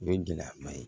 O ye gɛlɛyaba ye